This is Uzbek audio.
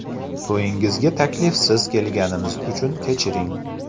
To‘yingizga taklifsiz kelganimiz uchun kechiring.